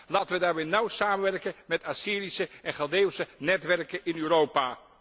Laten we daarom nauw samenwerken met Assyrische en Chaldeeuwse netwerken in Europa.